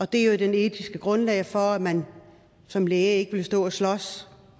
det er jo det etiske grundlag for at man som læge ikke vil stå og slås